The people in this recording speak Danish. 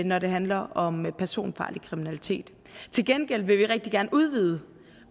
når det handler om personfarlig kriminalitet til gengæld vil vi rigtig gerne udvide